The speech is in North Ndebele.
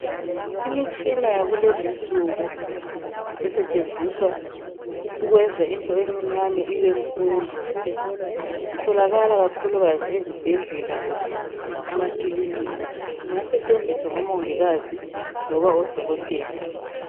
Imitshina yakulezinsuku esetshenziswa ukwenza into encinyane ibe nkulu. Itholakala kakhulukazi ezibhedlela kumbe emakilinika. Ingasetshenziswa ngomongikazi noma odokotela.